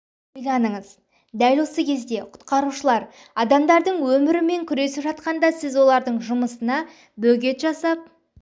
ойланыңыз дәл осы кезде құтқарушылар адамдардың өмірі үшін күресіп жатқанда сіз олардың жұмысына бөгет жасап